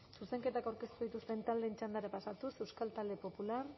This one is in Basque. zuzenketak aurkeztu dituzten taldeen txandara pasatuz euskal talde popularra